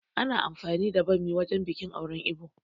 Ana amfani da ɓammi wajen biƙin auren Ibo